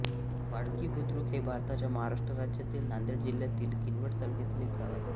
वाळकी बुद्रुक हे भारताच्या महाराष्ट्र राज्यातील नांदेड जिल्ह्यातील किनवट तालुक्यातील एक गाव आहे